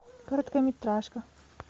короткометражка